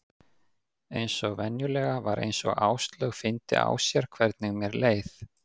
Eins og venjulega var eins og Áslaug fyndi á sér hvernig mér leið.